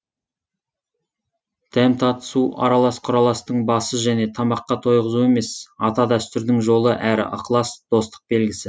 дәм татысу аралас құраластың басы және тамаққа тойғызу емес ата дәстүрдің жолы әрі ықылас достық белгісі